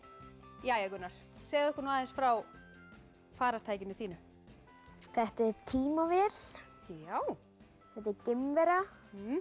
jæja Gunnar segðu okkur aðeins frá farartækinu þínu þetta er tímavél já þetta er geimvera